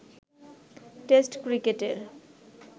test ক্রিকেটের